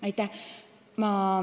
Aitäh!